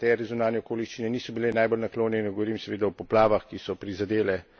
Je pa res seveda, da jim tudi nekatere zunanje okoliščine niso bile najbolj naklonjene.